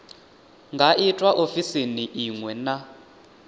nga itwa ofisini iṅwe na